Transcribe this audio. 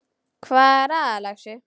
Hvað er það, lagsi?